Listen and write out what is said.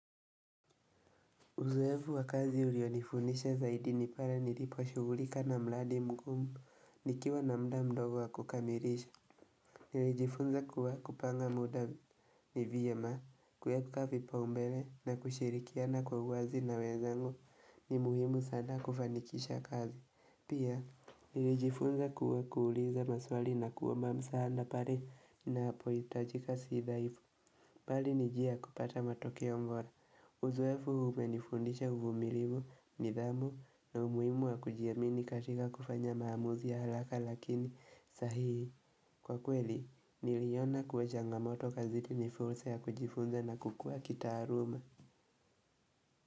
Uzoefu wa kazi ulionifunisha zaidi nipale nilipo shugulika na mladi mkumu, nikiwa na mda mdogo wa kukamirisha. Nilijifunza kuwa kupanga muda ni vyema, kweka vipa umbele na kushirikiana kwa wazi na wezango ni muhimu sana kufanikisha kazi. Pia, nilijifunza kuwa kuuliza maswali na kuwa mamsahanda pari na apoyitajika sidaifu, pali nijia kupata matokeo mbora. Uzoefuhuu umenifundisha uvumilivu ni dhamu na umuimu wa kujiamini katika kufanya maamuzi ya halaka lakini sahihi. Kwa kweli, niliona kuweja ngamoto kaziti ni fursa ya kujifunza na kukua kita aruma.